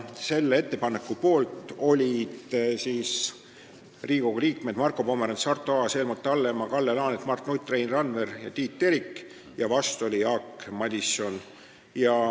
Selle ettepaneku poolt olid Riigikogu liikmed Marko Pomerants, Arto Aas, Helmut Hallemaa, Kalle Laanet, Mart Nutt, Rein Randver ja Tiit Terik, vastu oli Jaak Madison.